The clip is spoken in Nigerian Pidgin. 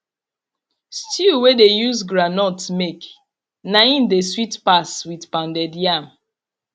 stew wey dey use groundnut make na im dey sweet pas with pounded yam